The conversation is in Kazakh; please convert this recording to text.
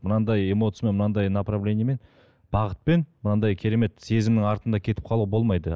мынандай эмоциямен мынандай направлениемен бағытпен мынандай керемет сезімнің артында кетіп қалуға болмайды